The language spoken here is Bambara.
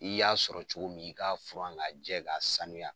I y'a sɔrɔ cogo min i ka furan ka jɛ ka sanuya.